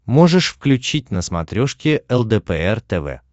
можешь включить на смотрешке лдпр тв